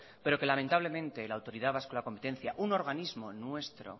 pero que lamentablemente la autoridad vasca de la competencia un organismo nuestro